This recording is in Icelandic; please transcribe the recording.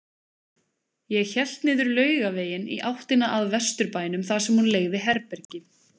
Ég hélt niður Laugaveginn í áttina að Vesturbænum þar sem hún leigði herbergi.